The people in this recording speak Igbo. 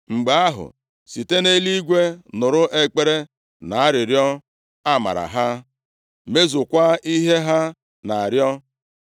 mgbe ahụ, site nʼeluigwe nụrụ ekpere na arịrịọ amara ha, mezukwa ihe ha na-arịọ.